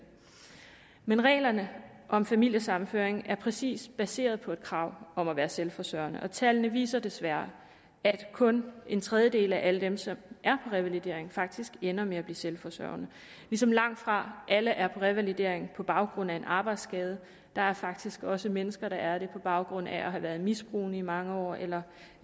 men reglerne om familiesammenføring er præcis baseret på et krav om at være selvforsørgende og tallene viser desværre at kun en tredjedel af alle dem som er på revalidering faktisk ender med at blive selvforsørgende ligesom langtfra alle er på revalidering på baggrund af en arbejdsskade der er faktisk også mennesker der er det på baggrund af at have været misbrugende i mange år eller